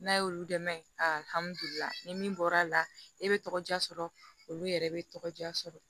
N'a y'olu dɛmɛ ali ni min bɔra la e be tɔgɔ diya sɔrɔ olu yɛrɛ be tɔgɔ diya sɔrɔ